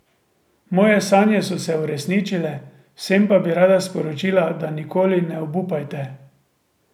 Moje sanje so se uresničile, vsem pa bi rada sporočila, da nikoli ne obupajte.